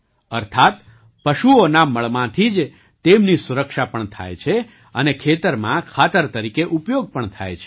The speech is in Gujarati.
અર્થાત્ પશુઓના મળમાંથી જ તેમની સુરક્ષા પણ થાય છે અને ખેતરમાં ખાતર તરીકે ઉપયોગ પણ થાય છે